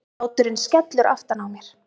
Hláturinn skellur aftan á mér.